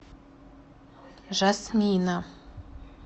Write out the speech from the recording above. жасмина